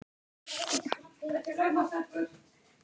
Þín rödd skiptir líka máli.